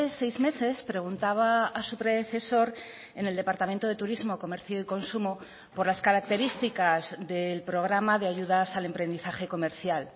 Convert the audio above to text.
seis meses preguntaba a su predecesor en el departamento de turismo comercio y consumo por las características del programa de ayudas al emprendizaje comercial